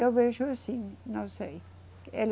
Eu vejo assim, não sei. Ele